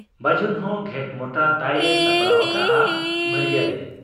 ᱵᱟᱹᱡᱩᱱ ᱦᱚᱸ ᱜᱷᱮᱸᱴ ᱢᱚᱴᱨᱟ ᱛᱟᱭ ᱮ ᱥᱟᱯᱲᱟᱣ ᱟᱠᱟᱜ ᱟ ᱵᱷᱟᱹᱨᱤᱭᱟᱹᱨᱮ ᱾